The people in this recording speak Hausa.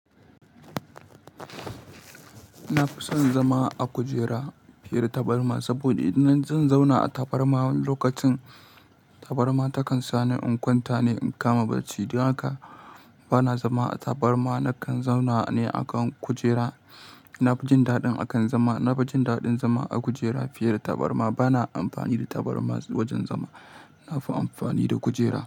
Na fi son zama a kujera fiye da tabarma saboda idan zan zauna a tabarma lokacin tabarma takan sa ni in kwanta ne in kama barci. Don haka bana zama a tabarma, na kan zauna ne a kan kujera. Na fi jin daɗin akan zama, na fi jin daɗin zama a kujera fiye da tabarma. Bana amfani da tabarma wajen zama, na fi amfani da kujera.